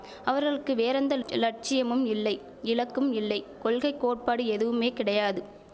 அவர்களுக்கு வேறெந்த லட்சியமும் இல்லை இலக்கும் இல்லை கொள்கை கோட்பாடு எதுவுமே கிடையாது